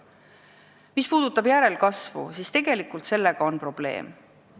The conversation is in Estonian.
Mis puudutab järelkasvu, siis tegelikult sellega on probleem.